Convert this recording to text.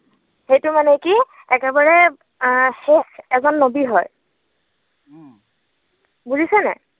সেইটো মানে কি একেবাৰ এ শেষ এজন নৱী হয়। বুজিছে নাই?